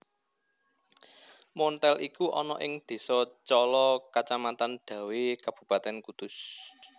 Monthel iku ana ing désa Cala kacamatan Dawé Kabupatèn Kudus